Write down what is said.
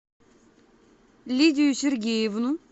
лидию сергеевну